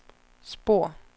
spor